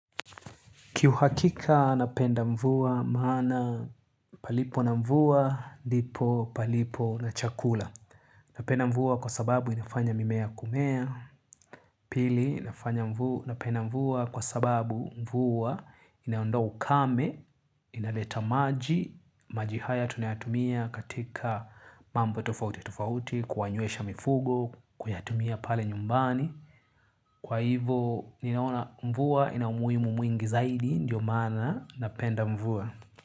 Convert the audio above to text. Ki uhakika napenda mvua maana palipo na mvua, ndipo, palipo na chakula. Napenda mvua kwa sababu inafanya mimea kumea. Pili, napenda mvua kwa sababu mvua inaondoa ukame, inaleta maji, maji haya tunayatumia katika mambo tofauti tofauti, kuwanywesha mifugo, kuyatumia pale nyumbani. Kwa hivyo, ninaona mvua, ina umuhimu mwingi zaidi, ndio mana, napenda mvua.